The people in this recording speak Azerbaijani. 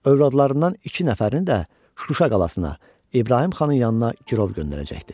Övladlarından iki nəfərini də Şuşa qalasına, İbrahim xanın yanına girov göndərəcəkdi.